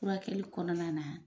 Furakɛli kɔnɔna na.